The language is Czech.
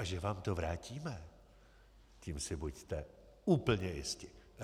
A že vám to vrátíme, tím si buďte úplně jisti.